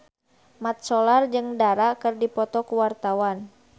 Mat Solar jeung Dara keur dipoto ku wartawan